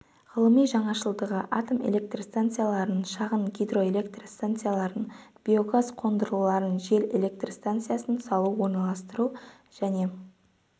ғылыми жаңашылдығы атом электр станцияларын шағын гидроэлектр станцияларын биогаз қондырғыларын жел электр станцияларын салу орналастыру және